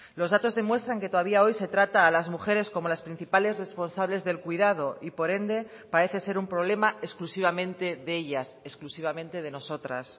los datos demuestran que todavía hoy se trata a las mujeres como las principales responsables del cuidado y por ende parece ser un problema exclusivamente de ellas exclusivamente de nosotras